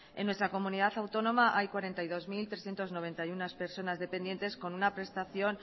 en nuestra comunidad autónoma hay cuarenta y dos mil trescientos noventa y uno personas dependientes con una prestación